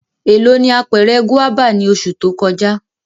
Elo ni apẹrẹ guaba ni oṣu to kọja?